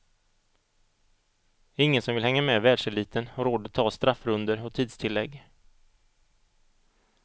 Ingen som vill hänga med världseliten har råd att ta straffrundor och tidstillägg.